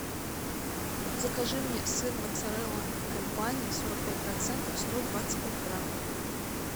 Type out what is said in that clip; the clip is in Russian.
закажи мне сыр моцарелла гольбани сорок пять процентов сто двадцать пять грамм